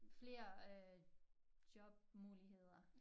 Flere øh jobmuligheder